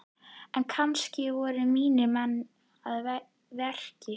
En kannski voru mínir menn að verki?